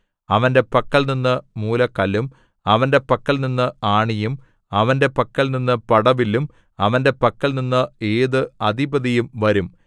അവന്റെ പക്കൽനിന്ന് മൂലക്കല്ലും അവന്റെ പക്കൽനിന്ന് ആണിയും അവന്റെ പക്കൽനിന്ന് പടവില്ലും അവന്റെ പക്കൽനിന്ന് ഏതു അധിപതിയും വരും